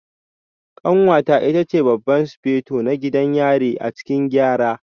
Kanwata ita ce Babban Sufeto na gidan yari a cikin Gyara